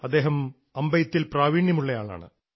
അദ്ദേഹം അമ്പെയ്ത്തിൽ പ്രാവീണ്യമുള്ളയാളാണ്